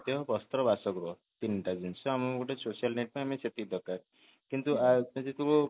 ବସ୍ତ୍ର ବାସଗୃହ ତିନଟା ଜିନିଷ ଆମେ ଗୋଟେ social life ପାଇଁ ଆମକୁ ସେତିକି ଦରକାର କିନ୍ତୁ